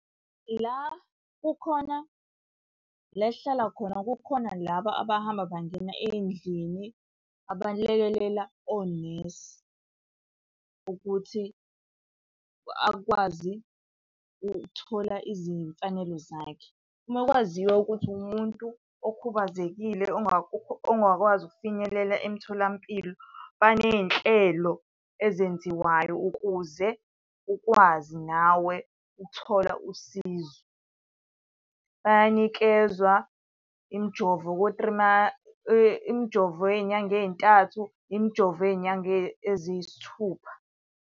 La kukhona, la esihlala khona kukhona laba abahamba bangena ey'ndlini abalekelela onesi ukuthi akwazi ukuthola izimfanelo zakhe. Uma kwaziwa ukuthi uwumuntu okhubazekile ongakwazi ukufinyelela emtholampilo, baney'nhlelo ezenziwayo ukuze ukwazi nawe ukuthola usizo. Bayanikezwa imijovo imijovo yey'nyanga ey'ntathu, imijovo yey'nyanga eziyisithupha.